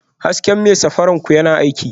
Hasken mai safarar ku yana aiki?